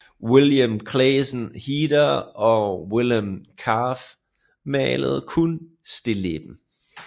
Willem Claeszoon Heda og Willem Kalf malede kun stilleben